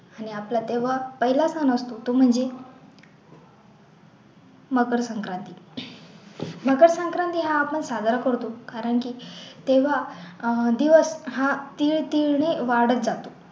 आणि आपला तेव्हा पहिला सण असतो तो म्हणजे मकर संक्रांति, मकर संक्रांति हा आपण साजरा करतो कारण की तेव्हा अह दिवस हा तीळ तीळने वाढत जातो